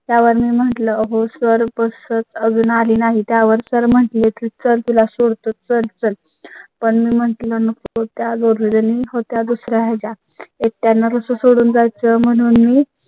त्यावर मी म्हटलं हो sirbus आली नाही. त्यावर sir म्हटले तर तुला सोडतो चर्चा पण मी म्हटलं नको त्या गुरबानी होत्या दुसर् याचा त्यांना सोडून जात म्हणून मी